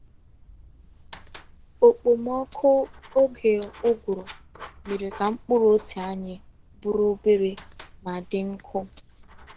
Okpomọkụ oge ụgụrụ mere ka mkpụrụ ose anyị bụrụ obere ma dị nkụ.